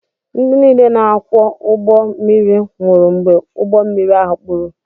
Ndị niile na-akwọ ụgbọ mmiri nwụrụ mgbe ụgbọ mmiri ahụ kpuru